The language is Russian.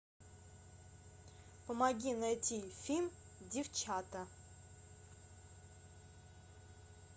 помоги найти фильм девчата